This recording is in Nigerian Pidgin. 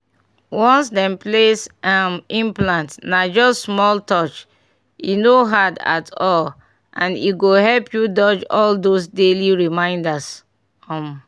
once dem place um implant na just small touch e no hard at all and e go help you dodge all those daily reminders. um